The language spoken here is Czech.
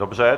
Dobře.